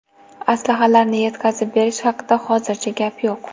Aslahalarni yetkazib berish haqida hozircha gap yo‘q.